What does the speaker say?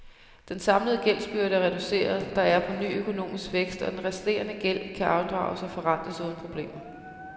Den samlede gældsbyrde er reduceret, der er på ny økonomisk vækst og den resterende gæld kan afdrages og forrentes uden problemer.